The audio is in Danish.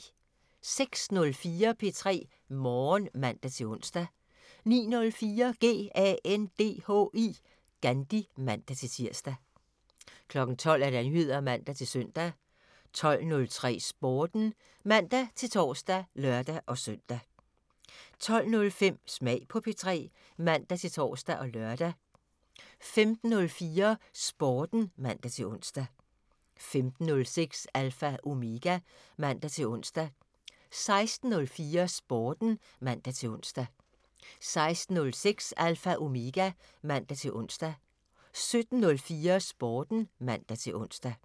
06:04: P3 Morgen (man-ons) 09:04: GANDHI (man-tir) 12:00: Nyheder (man-søn) 12:03: Sporten (man-tor og lør-søn) 12:05: Smag på P3 (man-tor og lør) 15:04: Sporten (man-ons) 15:06: Alpha Omega (man-ons) 16:04: Sporten (man-ons) 16:06: Alpha Omega (man-ons) 17:04: Sporten (man-ons)